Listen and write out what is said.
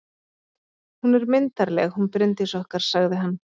Hún er myndarleg, hún Bryndís okkar, sagði hann.